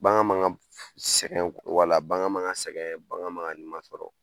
Bagan ma ŋa f sɛgɛn wala bagan ma ŋa sɛgɛn bagan ma ŋa nima sɔrɔ.